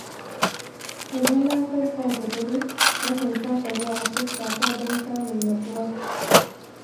Idan na farka da dare, na kan shafa ruwa a fuskata don samun natsuwa.